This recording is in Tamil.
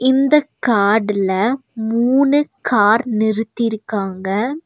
இந்தக் காடுல மூணு கார் நிறுத்திருக்காங்க.